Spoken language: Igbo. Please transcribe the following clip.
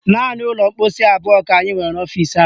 Naanị ụlọ mkposi abụọ ka anyị nwere n'ọfisi anyị